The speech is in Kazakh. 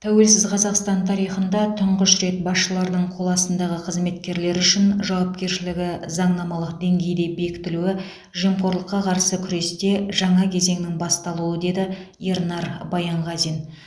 тәуелсіз қазақстан тарихында тұңғыш рет басшылардың қол астындағы қызметкерлері үшін жауапкершілігі заңнамалық деңгейде бекітілуі жемқорлыққа қарсы күресте жаңа кезеңнің басталуы деді ернар баянғазин